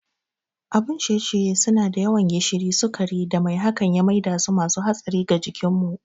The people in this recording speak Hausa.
Abin ciye-ciye suna da yawan gishiri, sukari da mai hakan ya maidasu masu hatsari ga jikinmu.